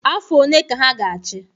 Afọ one ka ha ga-achị?